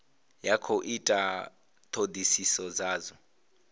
ya khou ita thodisiso dzadzo